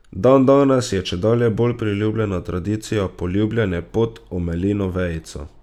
Dandanes je čedalje bolj priljubljena tradicija poljubljanje pod omelino vejico.